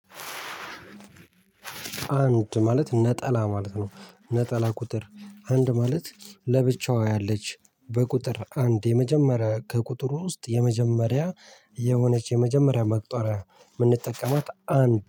አንድ ማለት ነጠላ ማለት ነው። ነጠላ ቁጥር። አንድ ማለት ለብቻዋ ያለች በቁጥር አንድ የመጀመሪያ ከቁጥሩ ውስጥ የመጀመሪያ የሆነች የመጀመሪያ መቁጠሪያ የምንጠቀማት አንድ